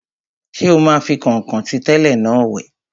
Ṣé o máa fi kọ̀nkọ̀n tí tẹ́lẹ̀ náà wẹ̀?